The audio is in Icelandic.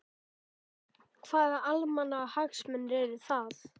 Hvaða almannahagsmunir eru það?